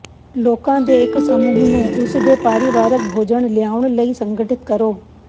ਲੋਕਾਂ ਦੇ ਇੱਕ ਸਮੂਹ ਨੂੰ ਉਸ ਦੇ ਪਰਿਵਾਰਕ ਭੋਜਨ ਲਿਆਉਣ ਲਈ ਸੰਗਠਿਤ ਕਰੋ